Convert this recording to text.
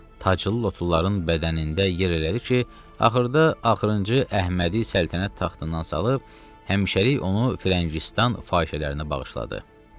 Taçlı lotuların bədənində yerləşdi ki, axırda axırıncı Əhmədi səltənət taxtından salıb həmişəlik onu Frəngistan fahişələrinə bağışladı.